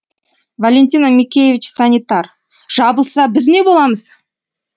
валентина микеевич санитар жабылса біз не боламыз